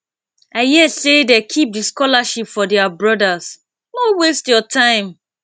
i hear sey dem keep di scholarship for their brodas no waste your time